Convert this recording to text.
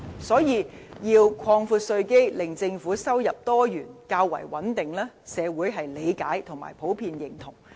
所以，要擴闊稅基，令政府收入多元和較為穩定，社會是理解和普遍認同。